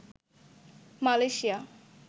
Malaysia